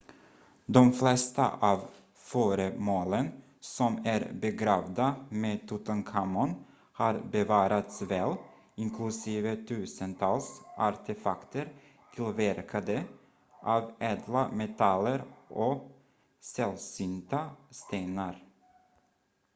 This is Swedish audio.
de flesta av föremålen som är begravda med tutankhamon har bevarats väl inklusive tusentals artefakter tillverkade av ädla metaller och sällsynta stenar